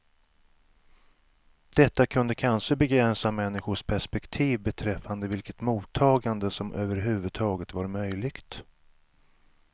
Detta kunde kanske begränsa människors perspektiv beträffande vilket mottagande som överhuvudtaget var möjligt.